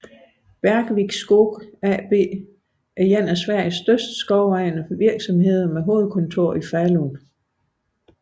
Bergvik Skog AB er en af Sveriges største skovejende virksomheder med hovedkontor i Falun